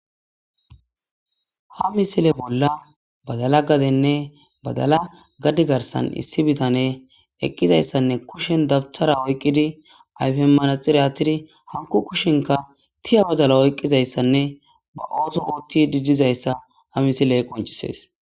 Ha misile bolla badala gadenne badala gaddi garsan issi bitane eqqizayssanne kushen dabthara oyqqidi ayfeemmanaxiratidi hanko kushenka tiya badala oyqqizayssanne ba ooso ootti didizayssa ha misiley qoncisees.